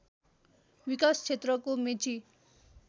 विकास क्षेत्रको मेची